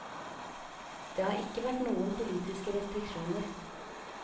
Det har ikke vært noen politiske restriksjoner.